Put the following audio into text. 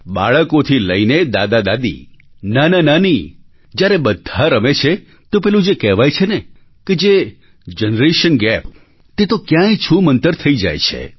બાળકોથી લઈને દાદાદાદી નાનાનાની જ્યારે બધા રમે છે તો પેલું જે કહેવાય છે ને કે જનરેશન ગેપ તે તો ક્યાંય છૂમંતર થઈ જાય છે